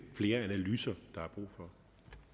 på